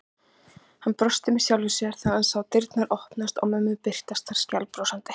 Hann brosti með sjálfum sér þegar hann sá dyrnar opnast og mömmu birtast þar skælbrosandi.